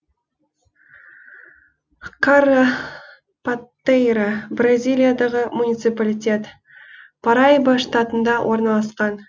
каррапатейра бразилиядағы муниципалитет параиба штатында орналасқан